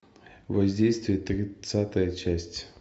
воздействие тридцатая часть